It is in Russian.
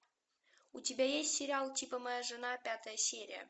у тебя есть сериал типа моя жена пятая серия